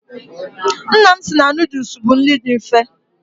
Nna m si na nuduls bụ nri dị mfe.